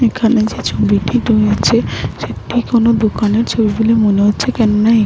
এইখানে যে ছবিটি বয়েছে সেটি কোন দোকানের ছবি বলে মনে হচ্ছে কোনোনা এ--